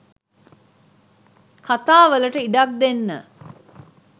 කතා වලට ඉඩක් දෙන්න.